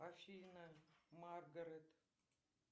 афина маргарет